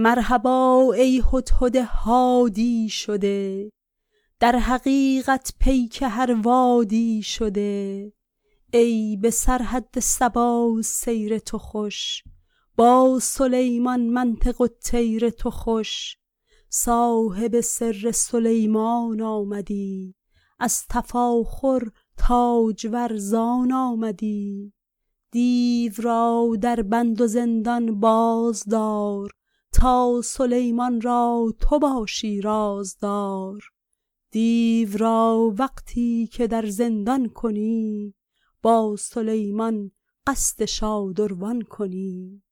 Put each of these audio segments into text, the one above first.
مرحبا ای هدهد هادی شده در حقیقت پیک هر وادی شده ای به سرحد سبا سیر تو خوش با سلیمان منطق الطیر تو خوش صاحب سر سلیمان آمدی از تفاخر تاجور زان آمدی دیو را در بند و زندان باز دار تا سلیمان را تو باشی رازدار دیو را وقتی که در زندان کنی با سلیمان قصد شادروان کنی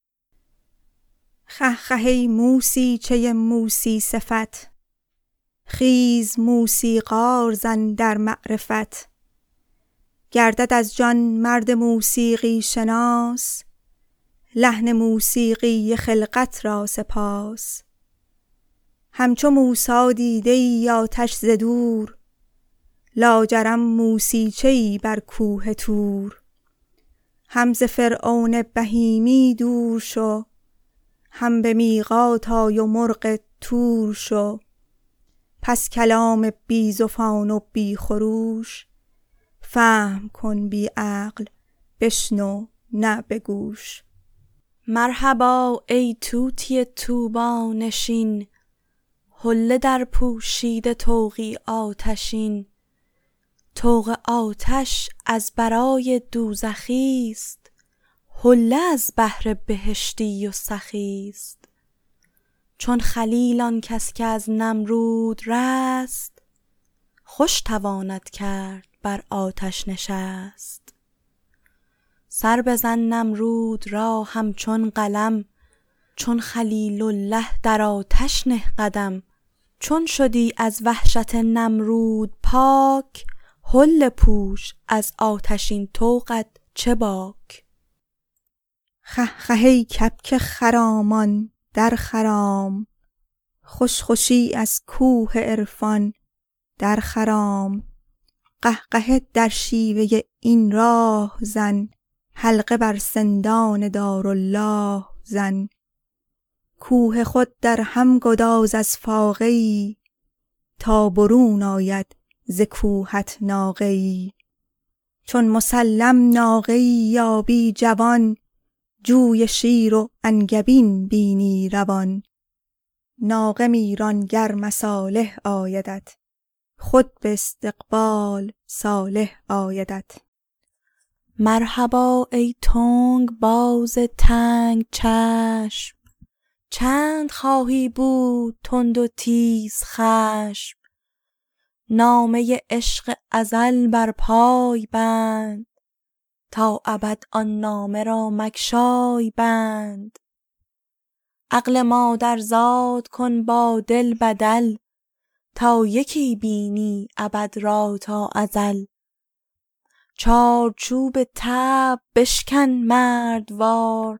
خه خه ای موسیجه موسی صفت خیز موسیقار زن در معرفت کرد از جان مرد موسیقی شناس لحن موسیقی خلقت را سپاس همچو موسی دیده ای آتش ز دور لاجرم موسیجه ای بر کوه طور هم ز فرعون بهیمی دور شو هم به میقات آی و مرغ طور شو پس کلام بی زفان و بی خروش فهم کن بی عقل و بشنو نه به گوش مرحبا ای طوطی طوبی نشین حله درپوشیده طوقی آتشین طوق آتش از برای دوزخی ست حله از بهر بهشتی و سخی ست چون خلیل آن کس که از نمرود رست خوش تواند کرد بر آتش نشست سر بزن نمرود را همچون قلم چون خلیل اله در آتش نه قدم چون شدی از وحشت نمرود پاک حله پوش از آتشین طوقت چه باک خه خه ای کبک خرامان در خرام خوش خوشی از کوه عرفان در خرام قهقهه در شیوه این راه زن حلقه بر سندان دارالله زن کوه خود در هم گداز از فاقه ای تا برون آید ز کوهت ناقه ای چون مسلم ناقه ای یابی جوان جوی شیر و انگبین بینی روان ناقه می ران گر مصالح آیدت خود به استقبال صالح آیدت مرحبا ای تنگ باز تنگ چشم چند خواهی بود تند و تیزخشم نامه عشق ازل بر پای بند تا ابد آن نامه را مگشای بند عقل مادرزاد کن با دل بدل تا یکی بینی ابد را با ازل چارچوب طبع بشکن مردوار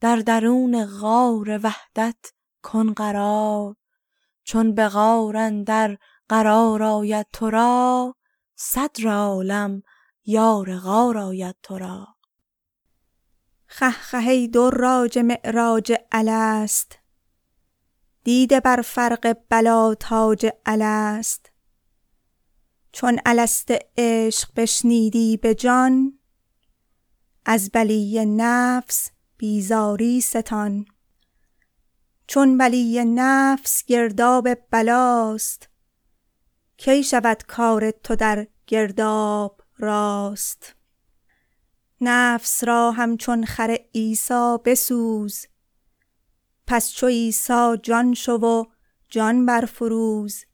در درون غار وحدت کن قرار چون به غار اندر قرار آید تو را صدر عالم یار غار آید تو را خه خه ای دراج معراج الست دیده بر فرق بلیٰ تاج الست چون الست عشق بشنیدی به جان از بلی نفس بیزاری ستان چون بلی نفس گرداب بلاست کی شود کار تو در گرداب راست نفس را همچون خر عیسی بسوز پس چو عیسی جان شو و جان برفروز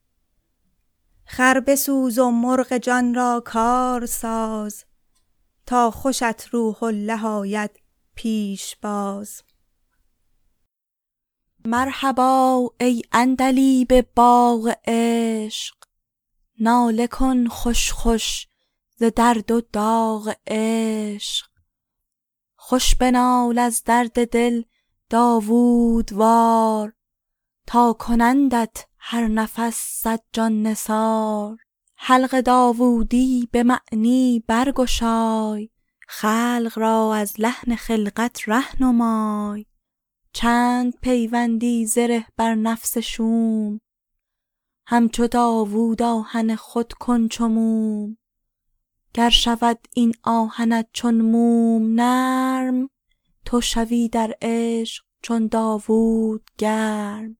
خر بسوز و مرغ جان را کار ساز تا خوشت روح اله آید پیش باز مرحبا ای عندلیب باغ عشق ناله کن خوش خوش ز درد و داغ عشق خوش بنال از درد دل داوودوار تا کنندت هر نفس صد جان نثار حلق داوودی به معنی برگشای خلق را از لحن خلقت ره نمای چند پیوندی زره بر نفس شوم همچو داوود آهن خود کن چو موم گر شود این آهنت چون موم نرم تو شوی در عشق چون داوود گرم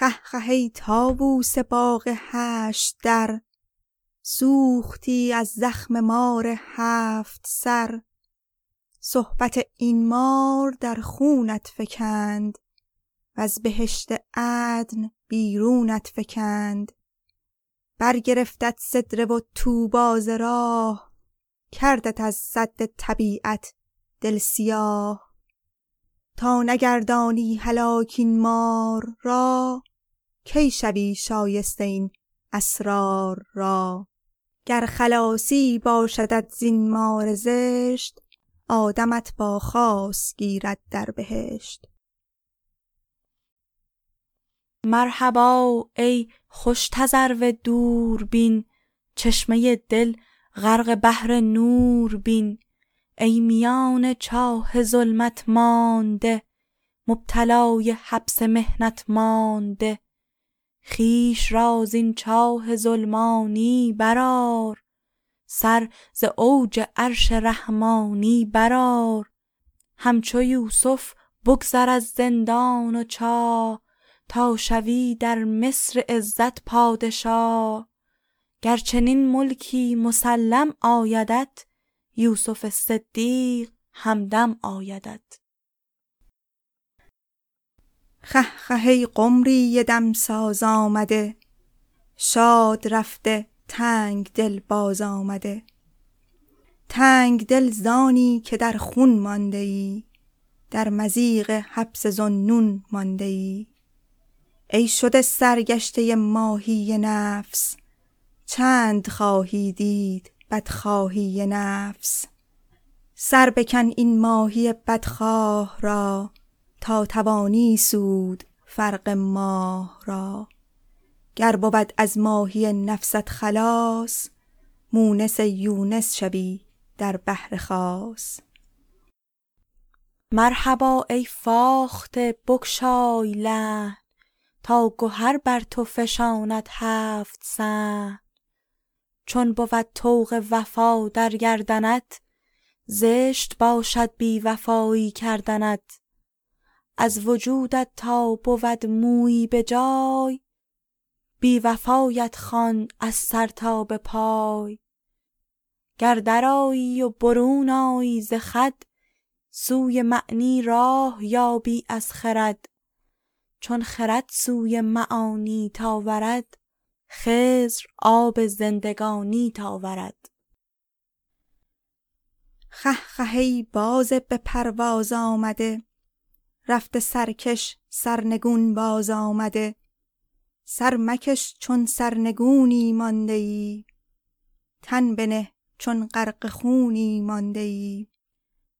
خه خه ای طاووس باغ هشت در سوختی از زخم مار هفت سر صحبت این مار در خونت فکند وز بهشت عدن بیرونت فکند برگرفتت سدره و طوبی ز راه کردت از سد طبیعت دل سیاه تا نگردانی هلاک این مار را کی شوی شایسته این اسرار را گر خلاصی باشدت زین مار زشت آدمت با خاص گیرد در بهشت مرحبا ای خوش تذرو دوربین چشمه دل غرق بحر نور بین ای میان چاه ظلمت مانده مبتلای حبس تهمت مانده خویش را زین چاه ظلمانی برآر سر ز اوج عرش رحمانی برآر همچو یوسف بگذر از زندان و چاه تا شوی در مصر عزت پادشاه گر چنین ملکی مسلم آیدت یوسف صدیق همدم آیدت خه خه ای قمری دمساز آمده شاد رفته تنگ دل باز آمده تنگ دل زانی که در خون مانده ای در مضیق حبس ذوالنون مانده ای ای شده سرگشته ماهی نفس چند خواهی دید بدخواهی نفس سر بکن این ماهی بدخواه را تا توانی سود فرق ماه را گر بود از ماهی نفست خلاص مونس یونس شوی در صدر خاص مرحبا ای فاخته بگشای لحن تا گهر بر تو فشاند هفت صحن چون بود طوق وفا در گردنت زشت باشد بی وفایی کردنت از وجودت تا بود مویی به جای بی وفایت خوانم از سر تا به پای گر در آیی و برون آیی ز خود سوی معنی راه یابی از خرد چون خرد سوی معانیت آورد خضر آب زندگانیت آورد خه خه ای باز به پرواز آمده رفته سرکش سرنگون باز آمده سر مکش چون سرنگونی مانده ای تن بنه چون غرق خونی مانده ای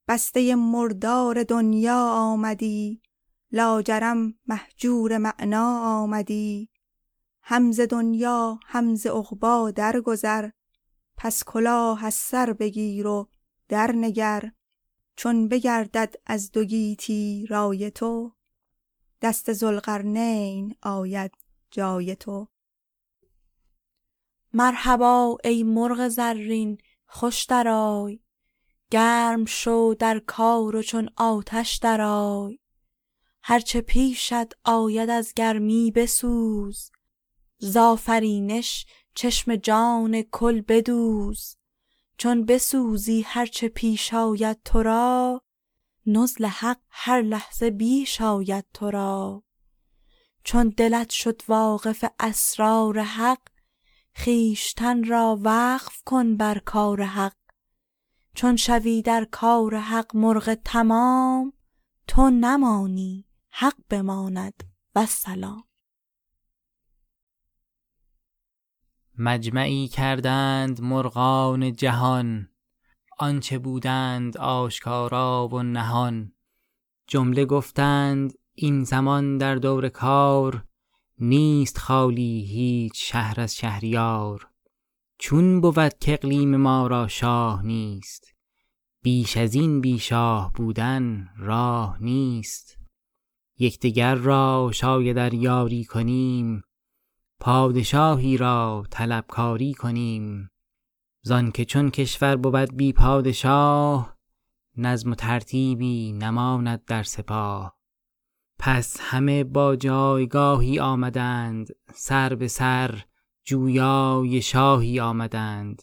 بسته مردار دنیا آمدی لاجرم مهجور معنیٰ آمدی هم ز دنیا هم ز عقبی درگذر پس کلاه از سر بگیر و درنگر چون بگردد از دو گیتی رای تو دست ذوالقرنین آید جای تو مرحبا ای مرغ زرین خوش درآی گرم شو در کار و چون آتش درآی هر چه پیشت آید از گرمی بسوز زآفرینش چشم جان کل بدوز چون بسوزی هر چه پیش آید تو را نزل حق هر لحظه بیش آید تو را چون دلت شد واقف اسرار حق خویشتن را وقف کن بر کار حق چون شوی در کار حق مرغ تمام تو نمانی حق بماند و السلام مجمعی کردند مرغان جهان آنچ بودند آشکارا و نهان جمله گفتند این زمان در دور کار نیست خالی هیچ شهر از شهریار چون بود کاقلیم ما را شاه نیست بیش از این بی شاه بودن راه نیست یک دگر را شاید ار یاری کنیم پادشاهی را طلب کاری کنیم زآنک چون کشور بود بی پادشاه نظم و ترتیبی نماند در سپاه پس همه با جایگاهی آمدند سر به سر جویای شاهی آمدند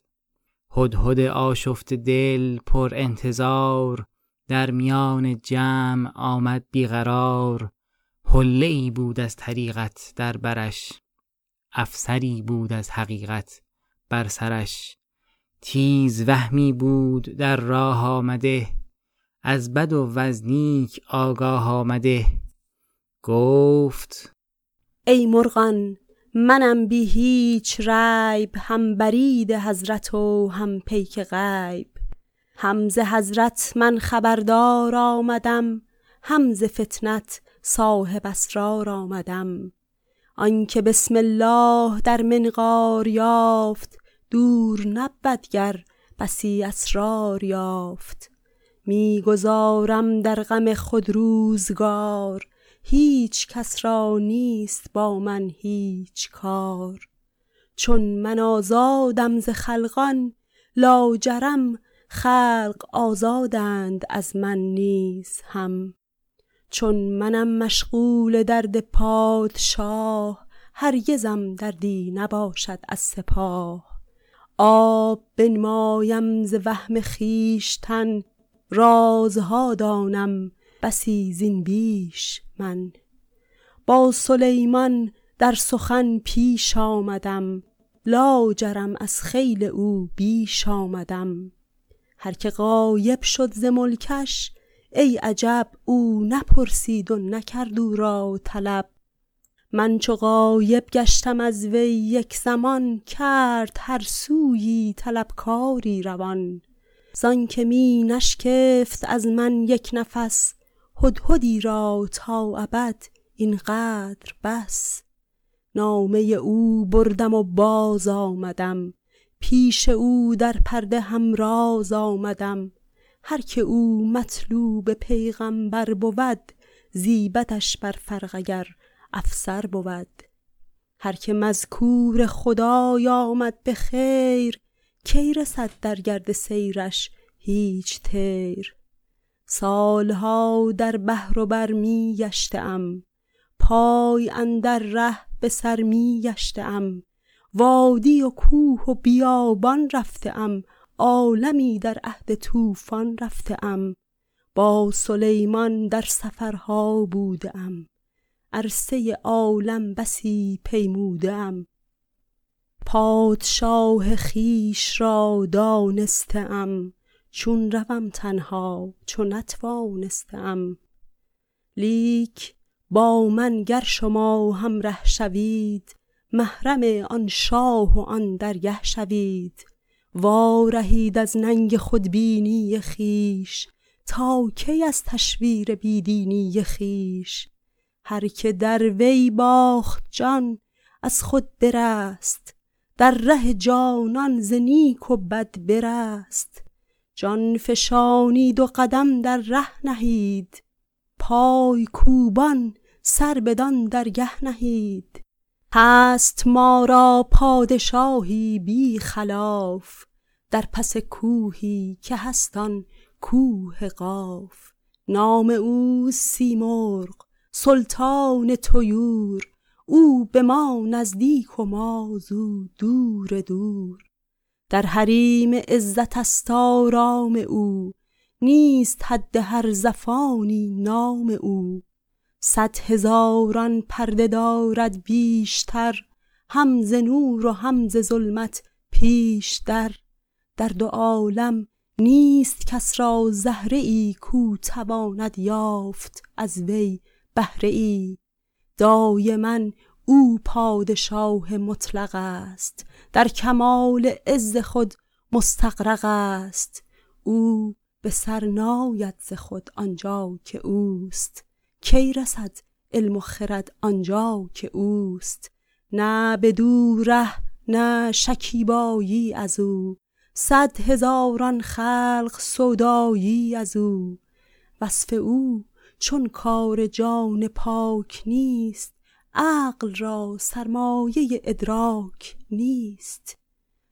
هدهد آشفته دل پرانتظار در میان جمع آمد بی قرار حله ای بود از طریقت در برش افسری بود از حقیقت بر سرش تیزوهمی بود در راه آمده از بد و از نیک آگاه آمده گفت ای مرغان منم بی هیچ ریب هم برید حضرت و هم پیک غیب هم ز هر حضرت خبردار آمدم هم ز فطنت صاحب اسرار آمدم آنک بسم الله در منقار یافت دور نبود گر بسی اسرار یافت می گذارم در غم خود روزگار هیچ کس را نیست با من هیچ کار چون من آزادم ز خلقان لاجرم خلق آزادند از من نیز هم چون منم مشغول درد پادشاه هرگزم دردی نباشد از سپاه آب بنمایم ز وهم خویشتن رازها دانم بسی زین بیش من با سلیمان در سخن پیش آمدم لاجرم از خیل او بیش آمدم هرک غایب شد ز ملکش ای عجب او نپرسید و نکرد او را طلب من چو غایب گشتم از وی یک زمان کرد هر سویی طلب کاری روان زآنک می نشکفت از من یک نفس هدهدی را تا ابد این قدر بس نامه او بردم و باز آمدم پیش او در پرده هم راز آمدم هرک او مطلوب پیغمبر بود زیبدش بر فرق اگر افسر بود هرک مذکور خدای آمد به خیر کی رسد در گرد سیرش هیچ طیر سال ها در بحر و بر می گشته ام پای اندر ره به سر می گشته ام وادی و کوه و بیابان رفته ام عالمی در عهد طوفان رفته ام با سلیمان در سفرها بوده ام عرصه عالم بسی پیموده ام پادشاه خویش را دانسته ام چون روم تنها چو نتوانسته ام لیک با من گر شما همره شوید محرم آن شاه و آن درگه شوید وارهید از ننگ خودبینی خویش تا کی از تشویر بی دینی خویش هرک در وی باخت جان از خود برست در ره جانان ز نیک و بد برست جان فشانید و قدم در ره نهید پای کوبان سر بدان درگه نهید هست ما را پادشاهی بی خلاف در پس کوهی که هست آن کوه قاف نام او سیمرغ سلطان طیور او به ما نزدیک و ما زو دور دور در حریم عزت است آرام او نیست حد هر زفانی نام او صد هزاران پرده دارد بیشتر هم ز نور و هم ز ظلمت پیش در در دو عالم نیست کس را زهره ای کاو تواند یافت از وی بهره ای دایما او پادشاه مطلق است در کمال عز خود مستغرق است او به سر ناید ز خود آن جا که اوست کی رسد علم و خرد آن جا که اوست نه بدو ره نه شکیبایی از او صد هزاران خلق سودایی از او وصف او چون کار جان پاک نیست عقل را سرمایه ادراک نیست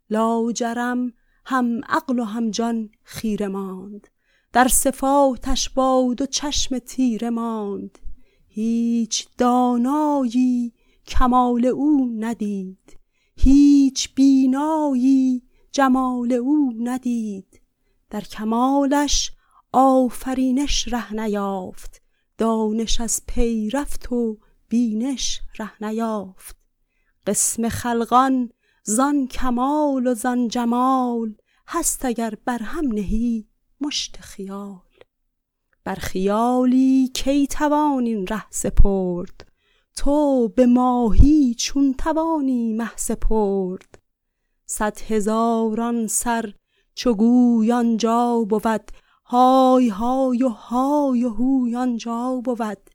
لاجرم هم عقل و هم جان خیره ماند در صفاتش با دو چشم تیره ماند هیچ دانایی کمال او ندید هیچ بینایی جمال او ندید در کمالش آفرینش ره نیافت دانش از پی رفت و بینش ره نیافت قسم خلقان زان کمال و زان جمال هست اگر بر هم نهی مشت خیال بر خیالی کی توان این ره سپرد تو به ماهی چون توانی مه سپرد صد هزاران سر چو گوی آن جا بود های های و های و هوی آن جا بود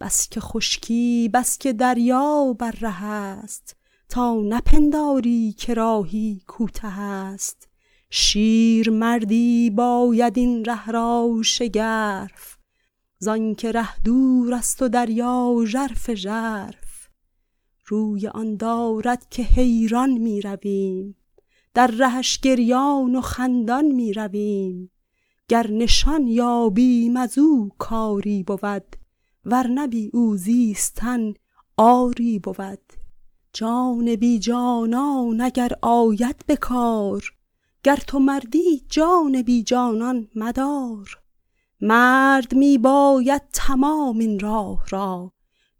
بس که خشکی بس که دریا بر ره است تا نپنداری که راهی کوته است شیرمردی باید این ره را شگرف زآنک ره دور است و دریا ژرف ژرف روی آن دارد که حیران می رویم در رهش گریان و خندان می رویم گر نشان یابیم از او کاری بود ور نه بی او زیستن عاری بود جان بی جانان اگر آید به کار گر تو مردی جان بی جانان مدار مرد می باید تمام این راه را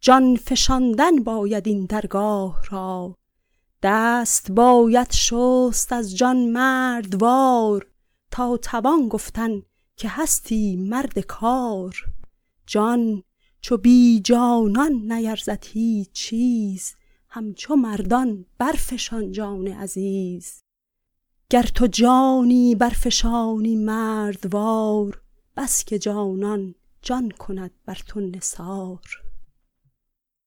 جان فشاندن باید این درگاه را دست باید شست از جان مردوار تا توان گفتن که هستی مرد کار جان چو بی جانان نیرزد هیچ چیز همچو مردان برفشان جان عزیز گر تو جانی برفشانی مردوار بس که جانان جان کند بر تو نثار